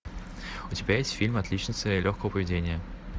у тебя есть фильм отличница легкого поведения